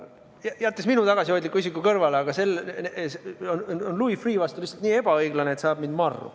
Jätame minu tagasihoidliku isiku kõrvale, aga Louis Freeh' vastu on see lihtsalt nii ebaõiglane, et ajab mind marru.